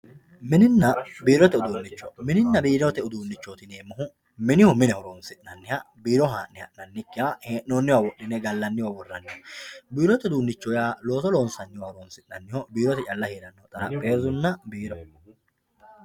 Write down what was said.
mininna biirote uduunnicho mininna biirote uduunnichooti yineemmohu minihu mine horonsi'nanniha biiro haa'ne ha'nannikkiha hee'noonniwa wodhine gllanniwa worranniha biirote uduunnicho yaa looso loonsanniwa loosoho challa horonsi'nanniho xarapheezunna biiro.